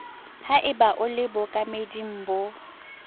haeba o le bookameding bo